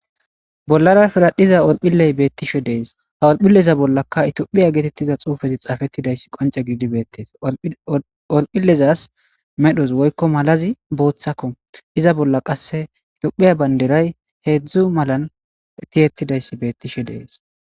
Bollara pirradhiza orphohilley bettishshe de'ees orphilleza bollakka itophphiya gettetiza xufey xafettiday qonce giididi bettees orphohilezas medhdhozi woykko mallazi boththakko iza blla qasse bolla qasse tophphiya bandiray heedzdzu mallan tiyettidaysi bettishshe de'ees